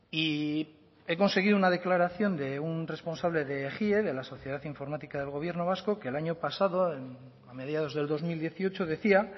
y he conseguido una declaración de un responsable de ejie de la sociedad informática del gobierno vasco que el año pasado a mediados del dos mil dieciocho decía